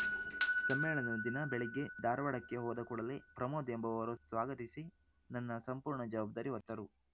ಸಮ್ಮೇಳನದ ದಿನ ಬೆಳಿಗ್ಗೆ ಧಾರವಾಡಕ್ಕೆ ಹೋದಕೂಡಲೇ ಪ್ರಮೋದ್‌ ಎಂಬವರು ಸ್ವಾಗತಿಸಿ ನನ್ನ ಸಂಪೂರ್ಣ ಜವಾಬ್ದಾರಿ ಹೊತ್ತರು